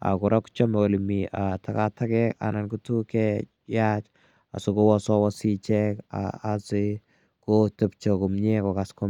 Kora ko chame ole mi takataket anan ko tuguk che yaach asikotepche komye , asikokass komye.